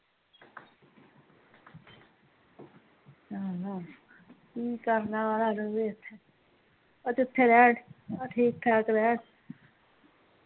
ਚੱਲ ਕਿ ਕਰਨਾ ਜਿਥੇ ਰੇਹ ਠੀਕ ਠਾਕ ਰੇਹ